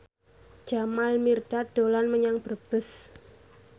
Jamal Mirdad dolan menyang Brebes